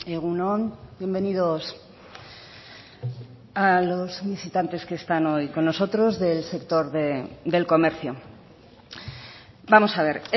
egun on bienvenidos a los visitantes que están hoy con nosotros del sector del comercio vamos a ver